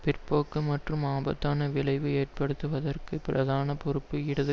பிற்போக்கு மற்றும் ஆபத்தான விளைவு ஏற்படுவதற்குப் பிரதான பொறுப்பு இடது